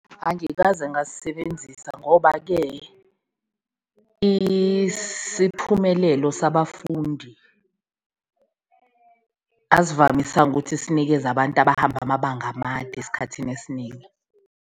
Angikaze ngasisebenzisa ngoba-ke isiphumelelo sabafundi asivamisanga ukuthi sinikeze abantu abahamba amabanga amade esikhathini esiningi.